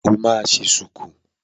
O máa ṣe ṣùkú.